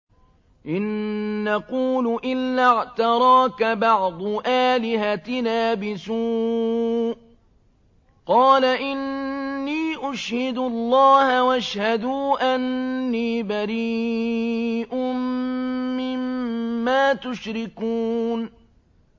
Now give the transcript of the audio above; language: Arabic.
إِن نَّقُولُ إِلَّا اعْتَرَاكَ بَعْضُ آلِهَتِنَا بِسُوءٍ ۗ قَالَ إِنِّي أُشْهِدُ اللَّهَ وَاشْهَدُوا أَنِّي بَرِيءٌ مِّمَّا تُشْرِكُونَ